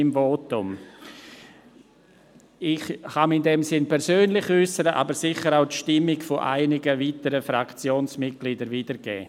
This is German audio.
Ich kann mich in diesem Sinne persönlich äussern, aber sicher auch die Stimmung einiger weiterer Fraktionsmitglieder wiedergeben.